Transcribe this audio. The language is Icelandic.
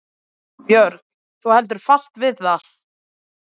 Björn: Þú heldur fast við það?